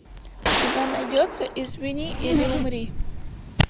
у тебя найдется извини или умри